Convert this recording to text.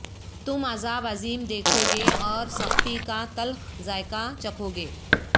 تم عذاب عظیم دیکھو گے اور سختی کا تلخ ذائقہ چکھو گے